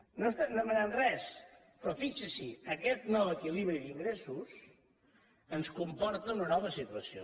no estem demanant res però fixi s’hi aquest nou equilibri d’ingressos ens comporta una nova situació